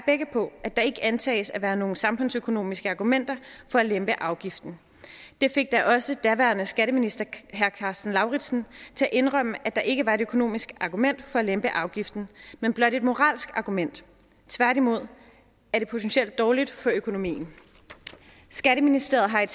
på at der ikke antages af være nogen samfundsøkonomiske argumenter for at lempe afgiften det fik da også daværende skatteminister herre karsten lauritzen til at indrømme at der ikke var et økonomisk argument for at lempe afgiften men blot et moralsk argument tværtimod er det potentielt dårligt for økonomien skatteministeriet har i